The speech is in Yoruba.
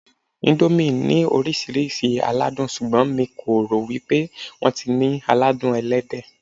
Íńdómì ní oríṣiríṣi aládùn, ṣùgbọ́n mi kò rò wípé wón ní ti aládùn Ẹlẹ́dẹ̀.